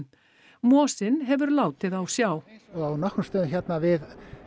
mosinn hefur látið á sjá á nokkrum stöðum hérna við